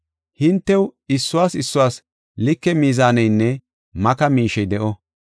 Hintew issuwas issuwas like mizaaneynne maka miishey de7o.